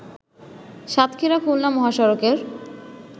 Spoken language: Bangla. সাতক্ষীরা-খুলনা মহাসড়কের